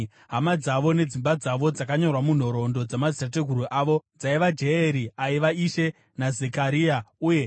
Hama dzavo nedzimba dzavo dzakanyorwa munhoroondo dzamadzitateguru avo dzaiva: Jeyeri aiva Ishe, naZekaria uye